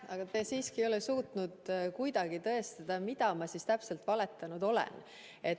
Aga te siiski ei ole suutnud kuidagi tõestada, mida ma täpselt valetanud olen.